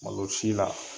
Malo si la